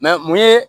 mun ye